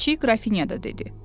Kiçik qrafinya da dedi.